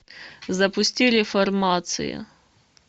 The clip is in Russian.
запусти реформация